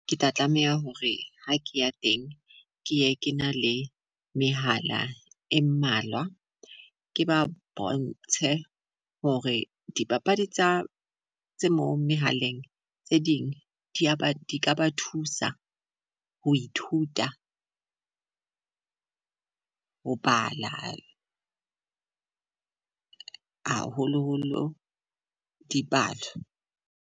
Ke tla tlameha hore ha ke ya teng ke ye ke na le mehala e mmalwa. Ke ba bontshe hore dipapadi tsa tse mo mehaleng tse ding di a ba di ka ba thusa ho ithuta, ho bala haholoholo dipalo.